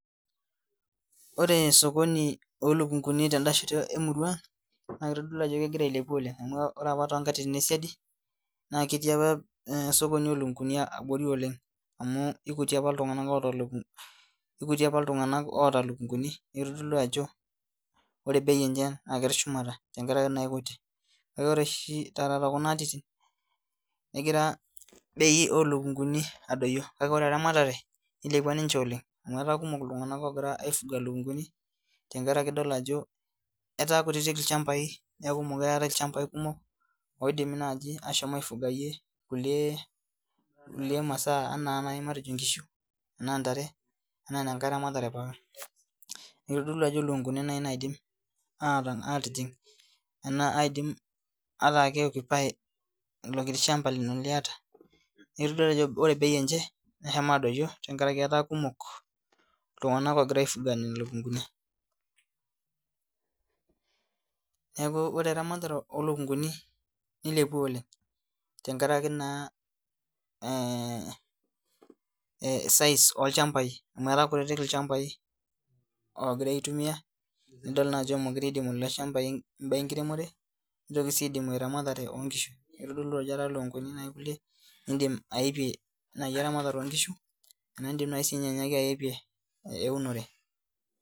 Ore osokoni oolukunguni ten'da shoto emurua naa kitodolu ajo kegira ailepu oleng amu ore opa toonkatitin esidai naaketii opa osokoni olukunguni abori oleng amu aikuti opa iltunganak oota ilukunguni naa kitodolu ajo ore bei enye netii shumata tenkaraki kuti kake ore oshi taata tookuna atitin negira bei oolukunguni adoyio kake eilepua ramatare etaa kumok iltunganak ogira aifuga ilukunguni tengaraki idol ajo etaa kutitik ilchambai neeku muukure etaai ilchambai kumok oodimi nai aifugayie kulie masaa matejo ingishu ena ntare enaa enkae ramatare Nitodolu ajo ilukunguni nai naidim atijing ilo kiti shamba lino liata netudol ajo ore bei enche neshomo adoyio tenkaraki etaa kumok iltunganak ogira aifuga ilukunguni Niaku ore eramatare oolukunguni nilepua oleng tengaraki naa size olchambai amu etaa kutitik ilchambai ogirai aitumia nidol naa ajo mukure eidimu ilo shamba im'baa enkiremore nitoki sii aidimu eramatare oongishu Niidim nai ayopie enaa iindim nai anyaaki ayopie eunore